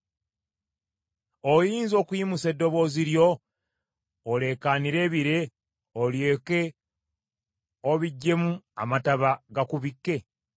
“Oyinza okuyimusa eddoboozi lyo oleekaanire ebire, olyoke obiggyemu amataba gakubikke?